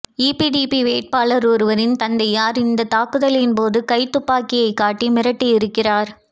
EPDP வேட்பாளர் ஒருவரின் தந்தையார் இந்தத் தாக்குதலின் போது கைத்துப்பாக்கியைக் காட்டி மிரட்டி இருக்கிறார்